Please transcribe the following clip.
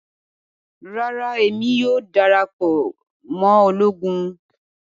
Rara Emi kii yoo darapọ mọ ologun